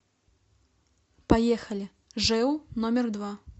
поехали жэу номер два